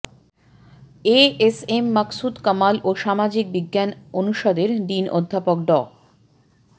এ S M Maksud Kamal ও সামাজিক বিজ্ঞান অনুষদের ডিন অধ্যাপক ড